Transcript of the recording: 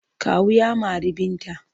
Kawu ya mari Binta.